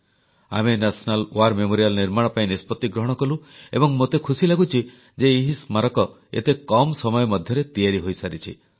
ଆମେ ରାଷ୍ଟ୍ରୀୟ ଯୁଦ୍ଧ ସ୍ମାରକୀ ନିର୍ମାଣ ପାଇଁ ନିଷ୍ପତ୍ତି ଗ୍ରହଣ କଲୁ ଏବଂ ମୋତେ ଖୁସି ଲାଗୁଛି ଯେ ଏହି ସ୍ମାରକୀ ଏତେ କମ୍ ସମୟ ମଧ୍ୟରେ ତିଆରି ହୋଇସାରିଛି